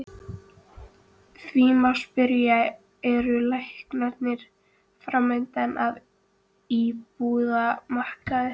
Því má spyrja, eru lækkanir framundan á íbúðamarkaði?